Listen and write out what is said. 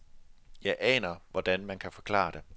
Jeg aner, hvordan man kan forklare det.